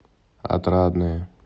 отрадное